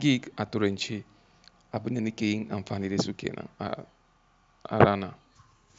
gig a turance abin da nake yin amfani da shi kenan a rana.